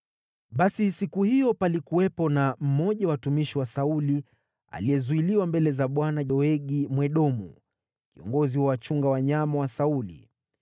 Basi siku hiyo palikuwepo na mmoja wa watumishi wa Sauli, aliyezuiliwa mbele za Bwana ; alikuwa Doegi Mwedomu, kiongozi wa wachunga wanyama wa Sauli.